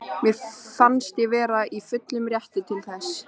Mér fannst ég vera í fullum rétti til þess.